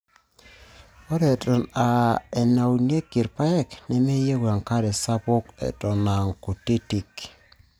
Ore Eton aa enaunieki irpaek nemeyieu enkare sapuk Eton aa kutitik.